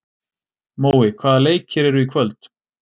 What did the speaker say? Mói, hvaða leikir eru í kvöld?